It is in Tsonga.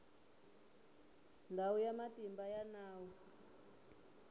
ndhawu ya matimba ya nawu